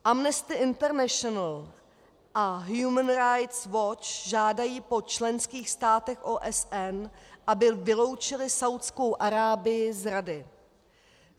Amnesty International a Human Right Watch žádají po členských státech OSN, aby vyloučily Saúdskou Arábii z Rady.